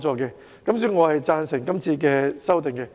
所以，我贊成今次的修訂。